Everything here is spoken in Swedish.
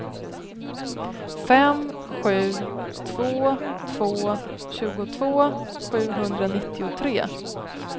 fem sju två två tjugotvå sjuhundranittiotre